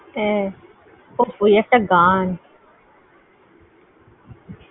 জরুরী খুব জরুরী দরকার।